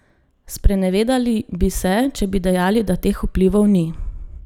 Sprenevedali bi se, če bi dejali, da teh vplivov ni.